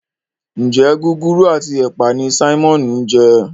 Njé Gúgúrú ati ẹpa ní Simon ń je?